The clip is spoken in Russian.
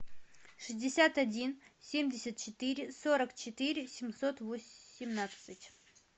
шестьдесят один семьдесят четыре сорок четыре семьсот восемнадцать